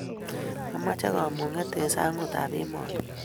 ameche kamung'et eng' sang'utab emoni.